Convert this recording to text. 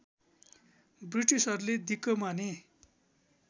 ब्रिटिसहरूले दिक्क माने